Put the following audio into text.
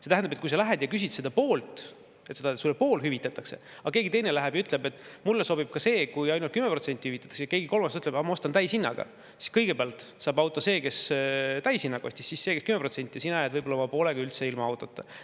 See tähendab, et kui sa lähed ja küsid, et sulle pool hüvitataks, aga keegi teine läheb ja ütleb, et talle sobib ka see, kui ainult 10% hüvitatakse, ja keegi kolmas ütleb, et ta ostab täishinnaga, siis kõigepealt saab auto see, kes täishinnaga ostab, siis see, kes 10%, ja sina jääd võib-olla oma poolega üldse ilma autota.